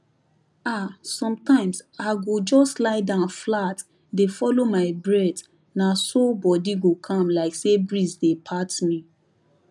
ah sometimes i go just lie down flat dey follow my breathna so body go calm like say breeze dey pat me